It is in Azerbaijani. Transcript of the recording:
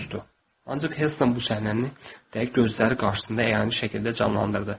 Ancaq Helston bu səhnəni dəqiq gözləri qarşısında əyani şəkildə canlandırdı.